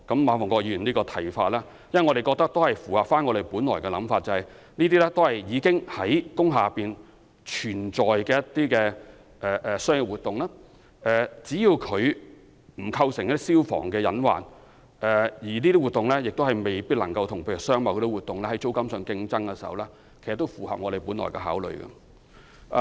我們覺得馬逢國議員的看法符合我們本來的想法，即那些一直在工廈營運的商業活動，只要不構成消防的隱患，亦不會與商貿活動在租金上有競爭，便可以繼續營運，這其實也符合我們本來的計劃。